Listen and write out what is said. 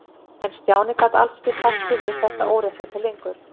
En Stjáni gat alls ekki sætt sig við þetta óréttlæti lengur.